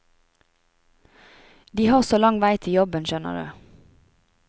De har så lang vei til jobben, skjønner du.